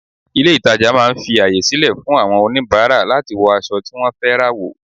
Ilé ìtàjà máà ń fi àyè sílẹ̀ fún àwọn oníbàárà láti wọ aṣọ tí wọ́n fẹ́ rà wò.